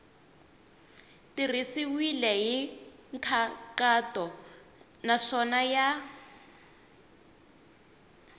tirhisiwile hi nkhaqato naswona ya